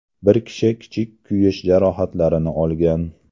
Bir kishi kichik kuyish jarohatlarini olgan.